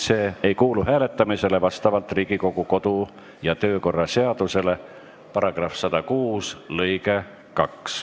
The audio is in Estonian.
See ei kuulu hääletamisele vastavalt Riigikogu kodu- ja töökorra seaduse § 106 lõikele 2.